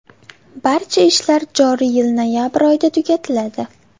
Barcha ishlar joriy yil noyabr oyida tugatiladi.